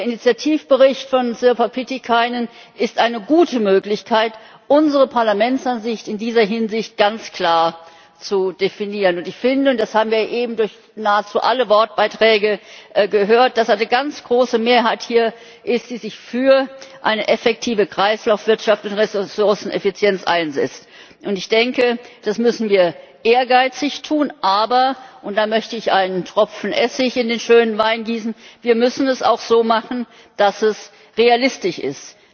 Der Initiativbericht von Sirpa Pietikäinen ist eine gute Möglichkeit, unsere Parlamentsansicht in dieser Hinsicht ganz klar zu definieren. Ich finde und das haben wir eben durch nahezu alle Wortbeiträge gehört dass es hier eine ganz große Mehrheit gibt, die sich für eine effektive Kreislaufwirtschaft und Ressourceneffizienz einsetzt. Das müssen wir ehrgeizig tun, aber und da möchte ich einen Tropfen Essig in den schönen Wein gießen wir müssen es auch so machen, dass es realistisch ist!